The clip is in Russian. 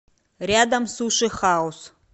рядом суши хаус